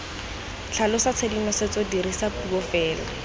tlhalosa tshedimosetso dirisa puo fela